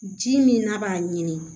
Ji min n'a b'a ɲini